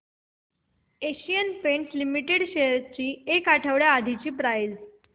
Asian Paints Limited shares ची एक आठवड्या आधीची प्राइस